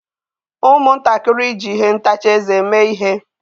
Ụmụntakịrị ji ihe ntacha eze mee ihe.